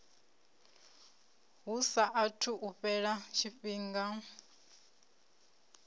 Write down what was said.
hu saathu u fhela tshifhinga